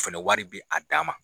Fɛnɛ wari bi a dan ma.